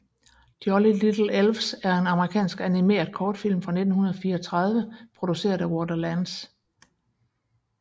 Jolly Little Elves er en amerikansk animeret kortfilm fra 1934 produceret af Walter Lantz